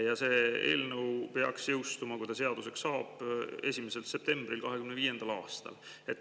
Ja see eelnõu peaks jõustuma, kui ta seaduseks saab, 1. septembril 2025. aastal.